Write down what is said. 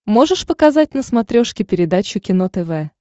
можешь показать на смотрешке передачу кино тв